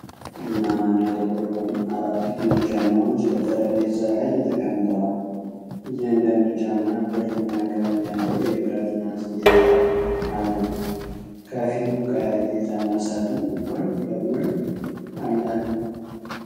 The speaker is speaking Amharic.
ቡናማና ጥቁር የሆኑ አራት ጥንድ ጫማዎች በጠረጴዛ ላይ ተቀምጠዋል። እያንዳንዱ ጫማ ብርማ ቀለም ያለው የብረት ማስጌጫ አለው። ከፊሉ ቀይ የጫማ ሳጥን ጎን ለጎን አለ።